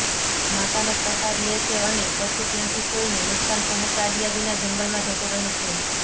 માતાનો પ્રસાદ લે છે અને પછી ત્યાંથી કોઈને નુકસાન પહોંચાડ્યા વિના જંગલમાં જતો રહે છે